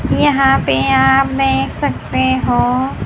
यहां पे आप देख सकते हो--